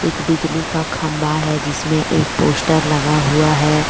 एक बिजली का खंबा है जिसमें एक पोस्टर लगा हुआ है।